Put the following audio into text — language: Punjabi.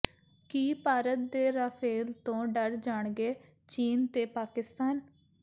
ਕੀ ਭਾਰਤ ਦੇ ਰਾਫੇਲ ਤੋਂ ਡਰ ਜਾਣਗੇ ਚੀਨ ਤੇ ਪਾਕਿਸਤਾਨ